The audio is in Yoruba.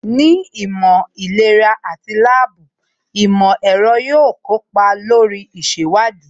Ní ìmọ̀ ìlera àti láàbù, ìmọ̀ ẹ̀rọ yóò kópa lórí ìṣèwádìí